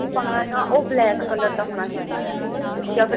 ਉਹ black color ਦਾ ਹੋਣਾ ਚਾਹੀਦਾ ਯਾ ਫਿਰ